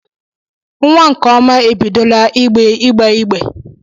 Nwa nkeọma ebidola igbeigbe